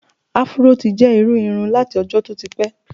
Afuró ti jẹ́ irú irun láti ọjọ́ tó ti pẹ́.